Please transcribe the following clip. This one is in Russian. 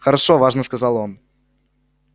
хорошо важно сказал он